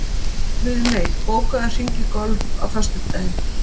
Guðmey, bókaðu hring í golf á föstudaginn.